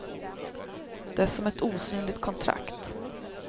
Det är som ett osynligt kontrakt.